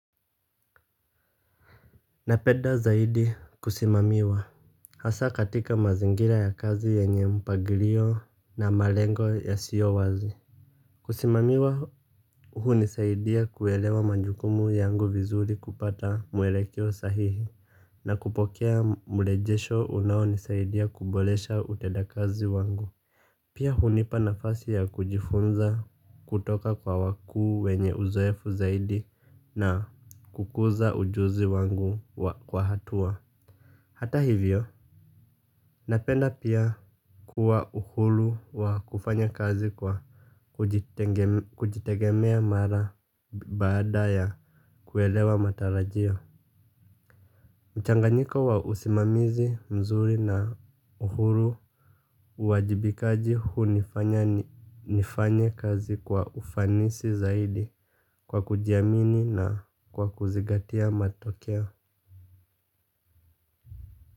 Napenda zaidi kusimamiwa hasa katika mazingira ya kazi yenye mpangilio na malengo yasiyo wazi. Kusimamiwa hunisaidia kuelewa majukumu yangu vizuri kupata mwelekeo sahihi. Na kupokea mrejesho unaonisaidia kuboresha utendakazi wangu. Pia hunipa nafasi ya kujifunza kutoka kwa wakuu wenye uzoefu zaidi na kukuza ujuzi wangu kwa hatua. Hata hivyo napenda pia kuwa uhuru wa kufanya kazi kwa kujitegemea mara baada ya kuelewa matarajio. Mchanganyiko wa usimamizi mzuri na uhuru uwajibikaji hunifanya nifanye kazi kwa ufanisi zaidi kwa kujiamini na kwa kuzingatia matokeo.